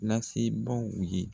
Lasebaw ye